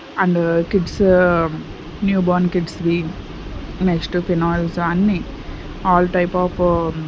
And kids newborn kids we next phenyls అన్ని all type of .